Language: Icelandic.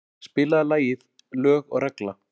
Guðdís, spilaðu lagið „Lög og regla“.